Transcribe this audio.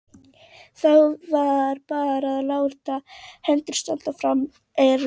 Þá var bara að láta hendur standa frammúr ermum.